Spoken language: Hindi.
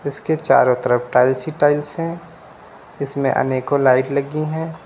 इसके चारों तरफ टाइल्स ही टाइल्स हैं इसमें अनेकों लाइट लगी हैं।